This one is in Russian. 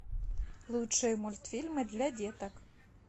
лучшие мультфильмы для деток